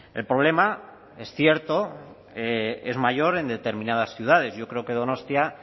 el problema es cierto es mayor en determinadas ciudades yo creo que donostia